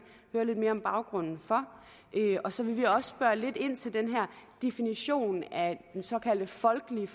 høre lidt mere om baggrunden for og så vil vi også spørge lidt ind til den her definition af den såkaldte folkelige